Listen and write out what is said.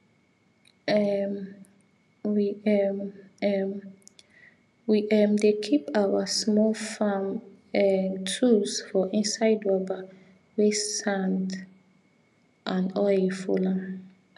um we um um we um dey keep our small farm um tools for inside rubber wey sand and oil full am